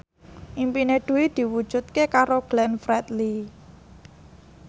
impine Dwi diwujudke karo Glenn Fredly